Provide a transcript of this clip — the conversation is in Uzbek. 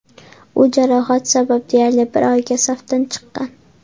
U jarohat sabab deyarli bir oyga safdan chiqqan.